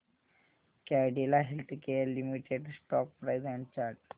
Cadila healthcare limited stock price and chart